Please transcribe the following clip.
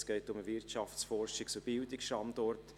Es geht um den Wirtschafts-, Forschungs- und Bildungsstandort;